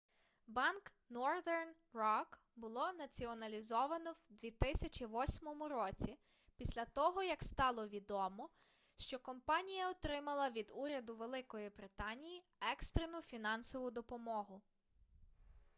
банк northern rock було націоналізовано в 2008 році після того як стало відомо що компанія отримала від уряду великої британії екстрену фінансову допомогу